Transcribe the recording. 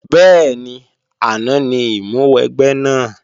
Bẹ́ẹ̀ni, àná ní ìmúwẹgbẹ́ náà